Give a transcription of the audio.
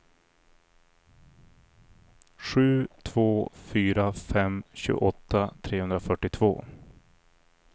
sju två fyra fem tjugoåtta trehundrafyrtiotvå